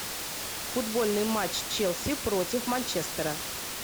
футбольный матч челси против манчестера